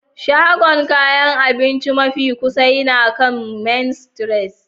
Shagon kayan abinci mafi kusa yana kan Main Street.